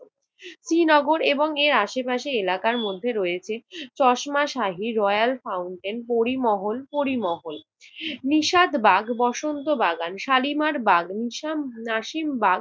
শ্রীনগর এবং এর আশপাশের এলাকার মধ্যে রয়েছে চশমাশাহী, রয়েল ফাউন্টেন, পরিমহন~ পরিমহল, নিশাতবাগ, বসন্ত বাগান, শালিমার বাগান, নাসিমবাগ,